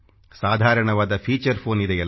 ಸಾಧಾರಣವಾದ feature phone ಇದೆಯಲ್ಲ